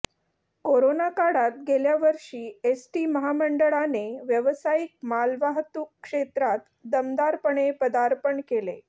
corona काळात गेल्यावर्षी ST महामंडळाने व्यावसायिक मालवाहतूक क्षेत्रात दमदारपणे पदार्पण केले